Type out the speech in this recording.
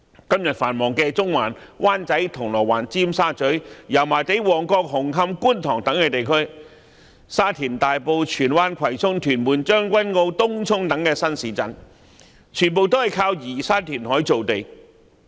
今天繁忙的中環、灣仔、銅鑼灣、尖沙咀、油麻地、旺角、紅磡和觀塘等地區，以及沙田、大埔、荃灣、葵涌、屯門、將軍澳和東涌等新市鎮，全皆是依靠移山填海造地。